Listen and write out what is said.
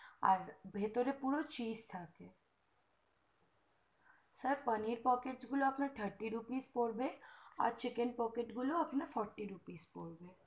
আর ভিতরে পুরো চিপস থাকে sir paneer pox গুলো আপনার thirty rupees পড়বে আর chicken pox গুলো আপনার fourty rupees পড়বে